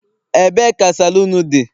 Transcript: ebe ka saloon di?